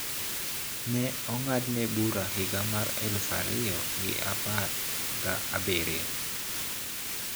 Ne ong`adne bura higa mar aluf ariyo gi apar ga abiriyo